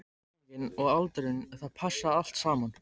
Lýsingin og aldurinn, það passaði allt saman.